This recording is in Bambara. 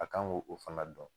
A kan ŋ'o ko fana dɔn